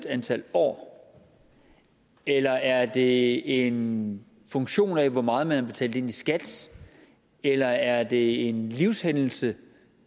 antal år eller er det en funktion i hvor meget man har betalt ind i skat eller er det en livshændelse